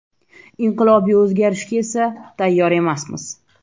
Inqilobiy o‘zgarishga esa tayyor emasmiz.